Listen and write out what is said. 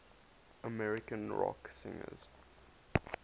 american rock singers